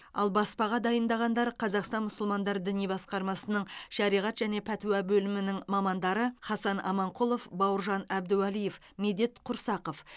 ал баспаға дайындағандар қазақстан мұсылмандар діни басқармасының шариғат және пәтуа бөлімінің мамандары хасан аманқұлов бауыржан әбдуалиев медет құрсақов